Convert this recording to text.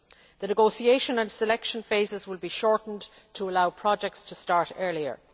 The negotiation and selection phases will be shortened to allow projects to start earlier.